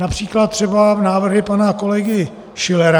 Například třeba návrhy pana kolegy Schillera.